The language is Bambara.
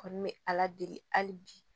Kɔni bɛ ala deli hali bi